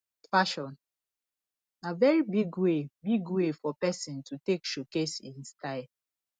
fashion na very big way big way for persin to take showcase in style